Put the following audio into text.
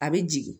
A bɛ jigin